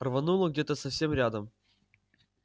рвануло где-то совсем рядом